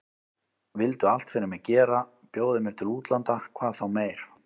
Vildu allt fyrir mig gera, bjóða mér til útlanda hvað þá meir.